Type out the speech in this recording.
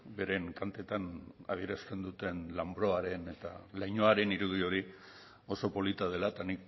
beren kantetan adierazten duten lanbroaren eta lainoaren irudi hori oso polita dela eta